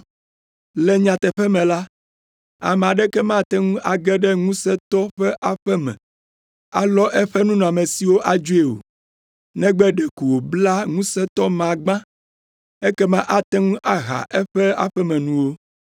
Le nyateƒe me la, ame aɖeke mate ŋu age ɖe ŋusẽtɔ ƒe aƒe me, alɔ eƒe nunɔamesiwo adzoe o, negbe ɖeko wòabla ŋusẽtɔ ma gbã, ekema ate ŋu aha eƒe aƒemenuwo.